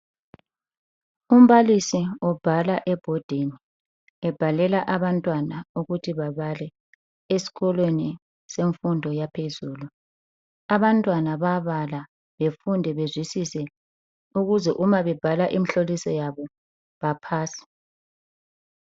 Umbalisi ubhala ebhodini, ebhalela abantwana ukuthi babale esikolweni semfundo yaphezulu. Abantwana bayabala befunde bezwisise ukuze uma bebhala imihloliso yabo bapase.